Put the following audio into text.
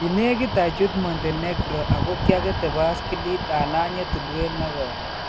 Kineekit achuut Montenegro ako kyaketee baskiliit alanyee tulweet nekoi